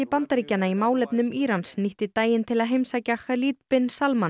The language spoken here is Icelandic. Bandaríkjanna í málefnum Írans nýtti daginn til að heimsækja bin